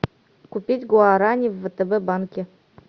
купить гуарани в втб банке